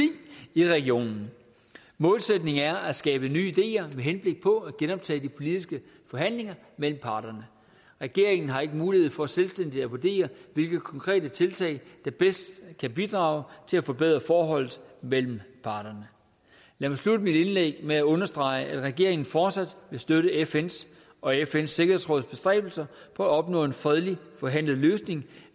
i regionen målsætningen er at skabe nye ideer med henblik på at genoptage de politiske forhandlinger mellem parterne regeringen har ikke mulighed for selvstændigt at vurdere hvilke konkrete tiltag der bedst kan bidrage til at forbedre forholdet mellem parterne lad mig slutte mit indlæg med at understrege at regeringen fortsat vil støtte fns og fns sikkerhedsråds bestræbelser på at opnå en fredelig forhandlet løsning